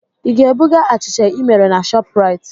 Ị ga-ebuga achịcha ị mere na Shọpraịt?